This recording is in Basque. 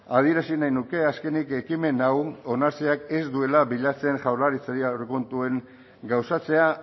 adierazi nahi nuke azkenik ekimen hau onartzeak ez duela bilatzen jaurlaritzari aurrekontuen gauzatzea